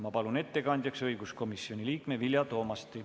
Ma palun ettekandjaks õiguskomisjoni liikme Vilja Toomasti.